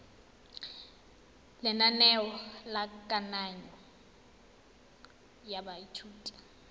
lenaneo la kananyo ya baithuti